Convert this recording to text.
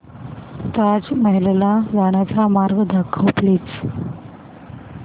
ताज महल ला जाण्याचा महामार्ग दाखव प्लीज